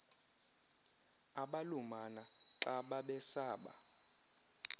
abalumana xa babesaba